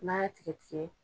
N'a y'a tigɛ tigɛ